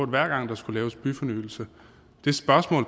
hver gang der skulle laves byfornyelse